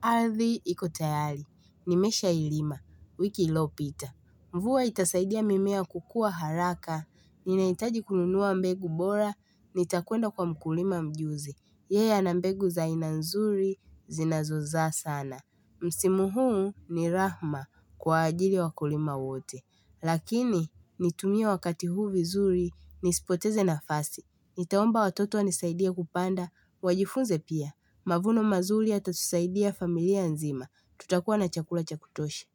Ardhi iko tayari nimeshailima wiki iliopita. Mvua itasaidia mimea kukua haraka ninahitaji kununua mbegu bora nitakwenda kwa mkulima mjuzi Yeye ana mbegu za aina nzuri zinazozaa sana Msimu huu ni rahma kwa ajili ya wakulima wote Lakini nitumie wakati huu vizuri nisipoteze nafasi nitaomba watoto wanisaidie kupanda wajifunze pia mavuno mazuri yatatusaidia familia nzima tutakuwa na chakula cha kutosha.